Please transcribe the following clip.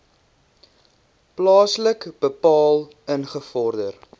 plaaslik bepaal ingevorder